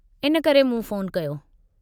इन करे मूं फ़ोन कयो।